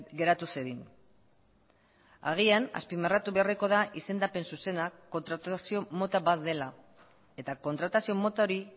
geratu zedin agian azpimarratu beharreko da izendapen zuzena kontratazio mota bat dela eta kontratazio mota hori